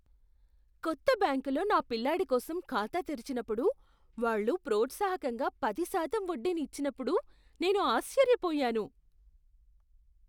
కొత్త బ్యాంకులో నా పిల్లాడి కోసం ఖాతా తెరిచినప్పుడు వాళ్ళు ప్రోత్సాహకంగా పది శాతం వడ్డీని ఇచినప్పుడు నేను ఆశ్చర్యపోయాను.